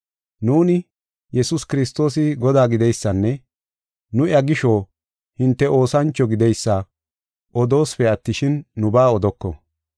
Nuuni, Yesuus Kiristoosi Godaa gideysanne nu iya gisho hinte oosancho gideysa odoosipe attishin, nubaa odoko.